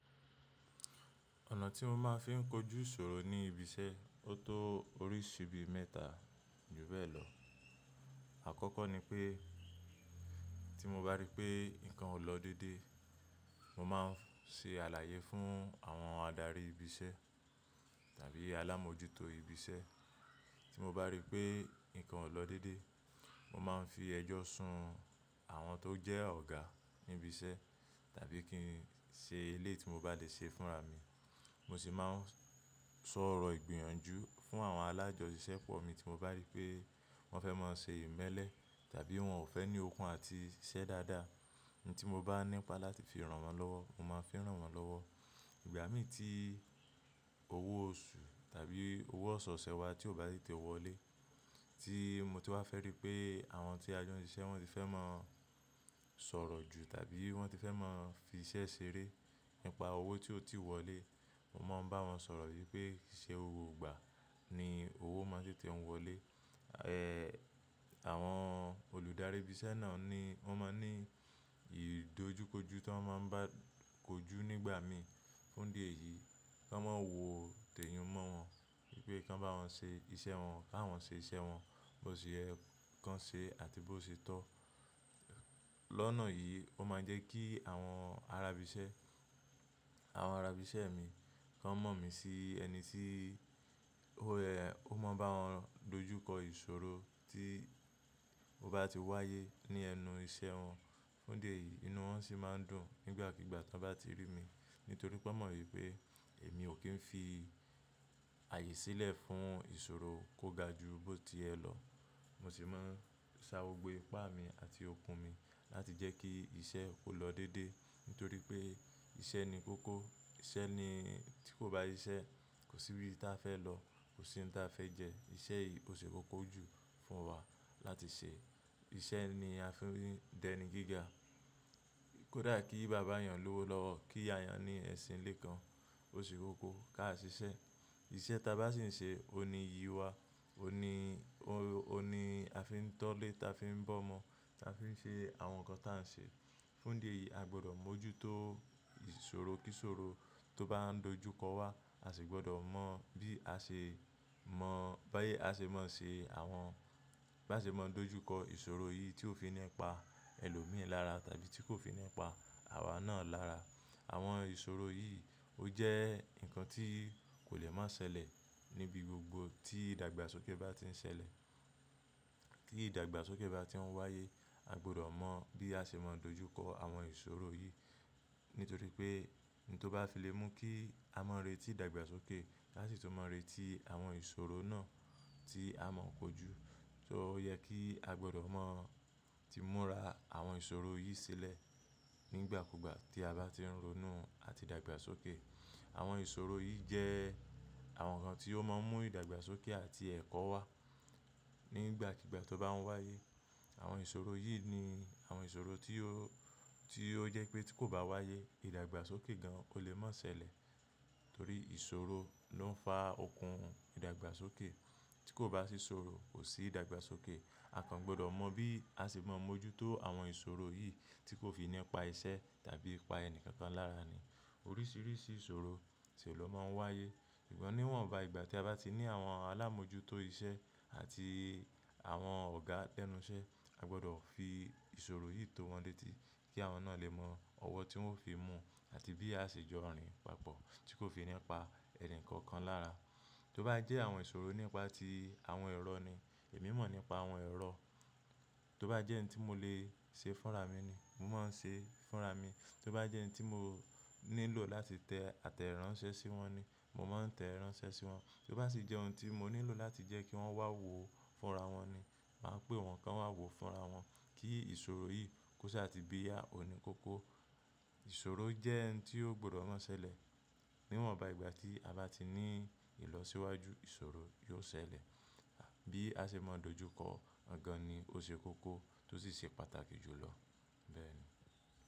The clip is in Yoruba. Ọ̀nà tí mo máa ń fi ń kojú ìṣòro ní ibi iṣẹ́ o tó oríṣi bí mẹ́ta ju bẹ́ẹ̀ lọ. Àkọ́kọ́ ni pé tí mo bá rí pé nǹkan ò lọ déédé, mo máa ń se àlàyé fún àwọn adarí ibi iṣẹ́ tàbí alámojútó ibi iṣẹ́. Tí mo bá rí pé nǹkan ò lọ déédé, mo máa ń fi ẹjọ́ sun àwọn tó jẹ́ ọ̀gá ní ibi iṣẹ́ tàbí kí n ṣe elé ti mo bá dé ṣe fúnra mi. Mo sì máa ń sọ̀rọ̀ ìgbìyànjú fún àwọn alájọṣìṣẹ́ pọ̀ mi tí mo bá rí pé wọ́n fẹ́ máa ń ṣe ìmẹ́lẹ́ tàbí wọ́n ò fẹ́ ní okun àti iṣẹ́ dáadáa. Ìnì tí mo bá nípa láti fi ràn wọ́n lọ́wọ́, mo máa ń fi ràn wọ́n lọ́wọ́. Ìgbà mí tí owó oṣù tàbí owó ọ̀ṣọ̀ọ̀ṣẹ́ wa tí ò bá sì ti wọlé, tí mo ti wá fẹ́ rí pé àwọn tí a jọ ń ṣiṣẹ́ wọ́n ti fẹ́ máa ń sọ̀rọ̀ jù tàbí wọ́n ti fẹ́ máa ń fi iṣẹ́ ṣeré nípa owó tí ó ti wọlé, mo máa ń bá wọn sọ̀rọ̀ wípé kìí ṣe gbogbo ìgbà ni owó máa sì ti ń wọlé. Ẹ̀, àwọn olùdarí ibi iṣẹ́ náà ni wọ́n máa ń ní ìdojúkojú tí wọ́n máa ń bá kojú nígbà mí fún dé yìí, kí wọ́n máa wo tẹ̀yìn mọ́ wọn wípé kí wọn bá wọn ṣe iṣẹ́ wọn káwọn ṣe iṣẹ́ wọn bó ṣe ẹ́ kan ṣe àti bó ṣe tọ́. Lọ́nà yìí, ó máa ń jẹ́ kí àwọn arabiṣẹ́, àwọn arabiṣẹ́ mi kan mọ̀ mí sí ẹni tí ó ẹ̀, ó mọ̀ bá wọn dojúkọ ìṣòro tí ó bá ti wáyé ní ẹnu iṣẹ́ wọn. Fún dé yìí, inú wọn sì máa ń dùn nígbàkígbà tí wọ́n bá ti rí mi. Nítorí pé wọ́n mọ̀ wípé èmi ò kí ń fi ààyè sílẹ̀ fún ìṣòro kó ga ju bó ti ẹ lọ. Mo sì máa ń sa gbogbo ipá mi àti okun mi láti jẹ́ kí iṣẹ́ ó lọ déédé. Nítorí pé iṣẹ́ ni kókó, iṣẹ́ ni tí kò bá iṣẹ́, kò sí ibi tí a fẹ́ lọ, kò sí ohun tí a fẹ́ jẹ. Iṣẹ́ yìí kò sì kókó jù fún wa láti ṣe. Iṣẹ́ ni a fi ń dẹni gíga. Kódà kí bàbá èèyàn lówó lọ́wọ́, kí èèyàn ní ẹṣin lé kan, ó sì kókó ká ṣe iṣẹ́. Iṣẹ́ ta bá sì ń ṣe, ó ní iyi wa, ó ní, ó ni a fi ń tọ́lé, ta fi ń bọ́mọ, ta fi ń ṣe àwọn nǹkan ta ń ṣe. Fún dé yìí, a gbọdọ̀ mójútó ìṣòro kí ìṣòro tó bá ń dojúkọ wa, a sì gbọdọ̀ mọ bí a ṣe mọ̀, bá yé a ṣe mọ̀ ṣe àwọn, bá ṣe mọ̀ dojúkọ ìṣòro yìí tí ó fi nípa ẹlòmíràn lára tàbí tí kò fi nípa àwa náà lára. Àwọn ìṣòro yìí ó jẹ́ nǹkan tí kò lè má ṣẹlẹ̀ níbi gbogbo tí ìdàgbàsókè bá ti ń ṣẹlẹ̀. Kí ìdàgbàsókè bá ti ń wáyé, a gbọdọ̀ mọ̀ bí a ṣe mọ̀ dojúkọ àwọn ìṣòro yìí. Nítorí pé ohun tó bá fi le mú kí a mọ̀ re tí ìdàgbàsókè láti sì tọ́ mọ̀ re tí àwọn ìṣòro náà tí a mọ̀ kọjú. So ó yẹ kí a gbọdọ̀ mọ̀ tí múra àwọn ìṣòro yìí sílẹ̀ nígbàkúgbà tí a bá ti ń ronú àti ìdàgbàsókè. Àwọn ìṣòro yìí jẹ́ àwọn nǹkan tí ó máa ń mú ìdàgbàsókè àti ẹ̀kọ́ wá nígbàkígbà tí ó bá ń wáyé. Àwọn ìṣòro yìí ni àwọn ìṣòro tí ó, tí ó jẹ́ pé tí kò bá wáyé, ìdàgbàsókè gan kò lè má ṣẹlẹ̀. Nítorí ìṣòro ló ń fa okun ìdàgbàsókè. Tí kò bá sí ìṣòro, kò sí ìdàgbàsókè. A kan gbọdọ̀ mọ̀ bí a ṣe mọ̀ mójútó àwọn ìṣòro yìí tí kò fi nípa iṣẹ́ tàbí pa ẹni kankan lára ni. Oríṣiríṣi ìṣòro sì ó lọ máa ń wáyé. Ìgbà níwọ̀nba ìgbà tí a bá ti ní àwọn alámojútó iṣẹ́ àti àwọn ọ̀gá lẹ́nuṣẹ́, a gbọdọ̀ fi ìṣòro yìí tó wọn létí kí àwọn náà lè mọ ọwọ́ tí wọ́n ó fi mú àti bí a ṣe jọ rìn papọ̀ tí kò fi nípa ẹni kankan lára. Tí ó bá jẹ́ àwọn ìṣòro nípa tí àwọn èrò ni, èmi mọ̀ nípa àwọn èrò. Tí ó bá jẹ́ ǹ tí mo lè ṣe fúnra mi ni, mo máa ń ṣe fúnra mi. Tí ó bá jẹ́ ǹ tí mo nílò láti tẹ àtẹ ìránṣẹ́ sí wọn ni, mo máa ń tẹ ìránṣẹ́ sí wọn. Tí ó bá sì jẹ́ ohun tí mo nílò láti jẹ́ kí wọ́n wá wò ó fúnra wọn ni, màá pè wọ́n kí wọ́n wá wò ó fúnra wọn. Kí ìṣòro yìí kó ṣe àti bí yá, ó ní kókó. Ìṣòro jẹ́ ǹ tí ó gbọdọ̀ má ṣẹlẹ̀. Níwọ̀nba ìgbà tí a bá ti ní ìlọsíwájú ìṣòro yóò ṣẹlẹ̀. Bí a ṣe máa dojúkọ ọ̀gàn ni ó ṣe kókó tó sì ṣe pàtàkì jù lọ bẹ́ẹ̀ ni.